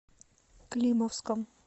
климовском